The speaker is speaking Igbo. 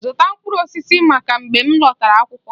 Zụta mkpụrụ osisi maka m mgbe ị lọtara akwụkwọ!